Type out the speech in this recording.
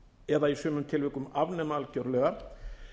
eða í sumum tilvikum afnema algjörlega